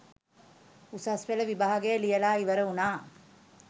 උසස් පෙළ විභාගය ලියලා ඉවර වුණා